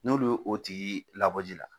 N'olu ye o tigi labɔ ji la